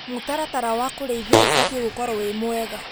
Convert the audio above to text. Mũtaratara wa kũrĩithia ũbatie gũkorwo wĩ mwega,